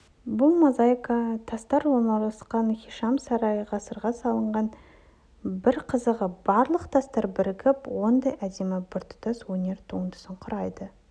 бұл мозаика тастар орналасқан хишам сарайы ғасырда салынған бір қызығы барлық тастар бірігіп осындай әдемі біртұтас өнер туындысын құрайды